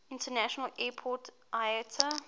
international airport iata